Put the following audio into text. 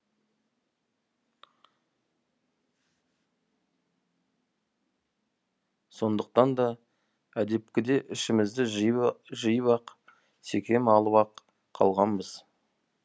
сондықтан да әдепкіде ішімізді жиып ақ секем алып ақ қалғанбыз